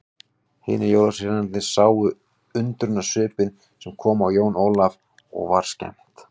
Hinir jólasveinarnir sáu undrunarsvipinn sem kom á Jón Ólaf og var skemmt.